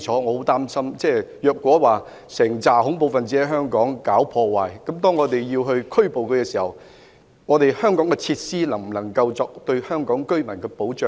我很擔心如果有一批恐怖分子在香港搞破壞，而我們將他們拘捕後，香港的設施能否為香港市民提供保障。